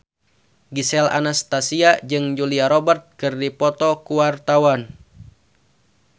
Gisel Anastasia jeung Julia Robert keur dipoto ku wartawan